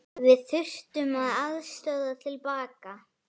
Við þurftum aðstoð til baka.